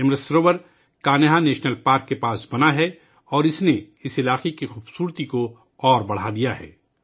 یہ Amrit Sarovar Kanha national park کے قریب بنایا گیا ہے اور اس نے اس علاقے کی خوبصورتی میں مزید اضافہ کیا ہے